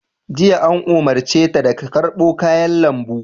Jiya, an umarce ta da ta karɓo kayan lambu!